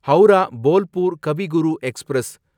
Howrah Bolpur Kavi Guru express